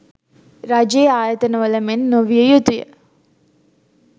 රජයේ ආයතන වල මෙන් නොවිය යුතුය.